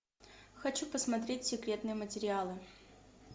хочу посмотреть секретные материалы